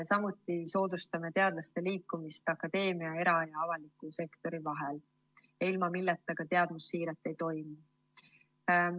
Samuti soodustame teadlaste liikumist akadeemia ning era‑ ja avaliku sektori vahel, ilma milleta ka teadmussiiret ei toimu.